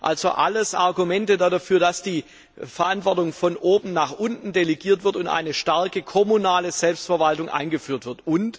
Also alles Argumente dafür, dass die Verantwortung von oben nach unten delegiert wird und eine starke kommunale Selbstverwaltung eingeführt wird.